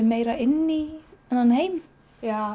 meira inn í þennan heim já